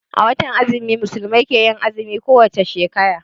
A watan azumi musulmai ke yin azumi ko wace shekara